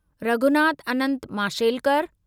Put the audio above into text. Raghunath Anant Mashelkar